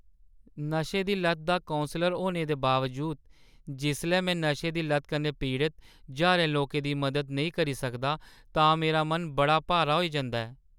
नशे दी लत्त दा कौंसलर होने दे बावजूद, जिसलै में नशें दी लत्त कन्नै पीड़त ज्हारें लोकें दी मदद नेईं करी सकदा तां मेरा मन बड़ा भारा होई जंदा ऐ ।